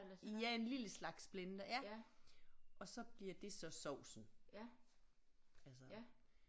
Jeg en lille slags blender ja og så bliver det så sovsen altså